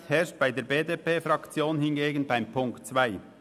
Einigkeit herrscht bei der BDP-Fraktion hingegen betreffend Punkt 2.